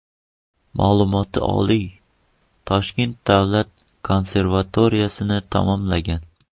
Ma’lumoti oliy, Toshkent davlat konservatoriyasini tamomlagan.